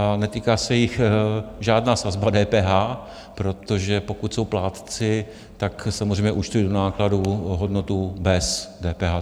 A netýká se jich žádná sazba DPH, protože pokud jsou plátci, tak samozřejmě účtují do nákladů hodnotu bez DPH.